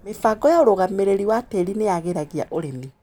Mĩbango ya ũrũgamĩrĩri wa tĩri nĩyagĩragia ũrĩmi.